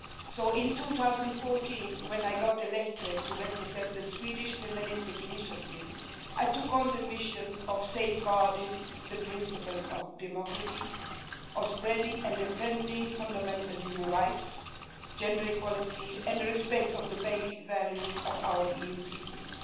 So in 2014, when I got elected to represent the Swedish Feministiskt initiative, I took on the mission of safeguarding the principles of democracy, of spreading and defending fundamental human rights, gender equality and the respect of the basic values of our EU Treaties.